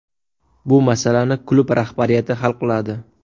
Bu masalani klub rahbariyati hal qiladi.